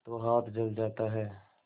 तो हाथ जल जाता है